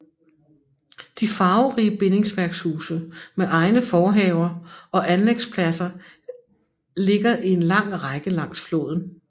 De farverige bindingsværkshuse med egne forhaver og anlægspladser ligger i en lang række langs floden